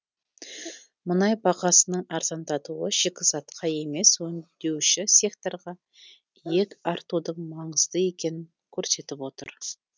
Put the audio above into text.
мұнай бағасының арзандатуы шикізатқа емес өңдеуші секторға иек артудың маңызды екенін көрсетіп отыр